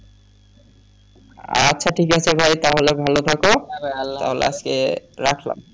আচ্ছা ঠিক আছে ভাই তাহলে ভালো থাকো তাহলে আজকে রাখলাম।